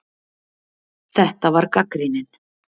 Þetta var gagnrýnin